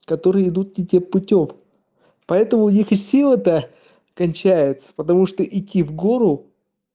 которые идут не тем путём поэтому у них и силы то кончаются потому что идти в гору